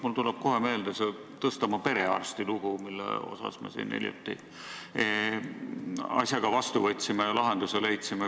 Mul tuleb kohe meelde see Tõstamaa perearsti lugu, millele me siin hiljuti lahenduse leidsime.